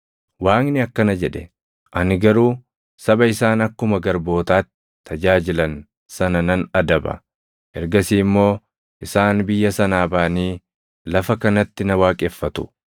Waaqni akkana jedhe; ‘Ani garuu saba isaan akkuma garbootaatti tajaajilan sana nan adaba; ergasii immoo isaan biyya sanaa baʼanii lafa kanatti na waaqeffatu.’ + 7:7 \+xt Uma 15:13,14\+xt*